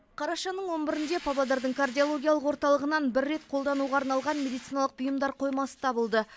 қарашаның он бірінде павлодардың кардиологиялық орталығынан бір рет қолдануға арналған медициналық бұйымдар қоймасы табылды